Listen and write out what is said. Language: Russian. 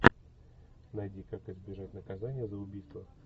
найди как избежать наказания за убийство